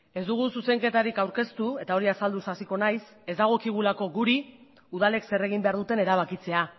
ez dugu zuzenketarik aurkeztu eta hori azalduz hasiko nahiz ez dagokigulako guri udalek zer egin behar duten erabakitzea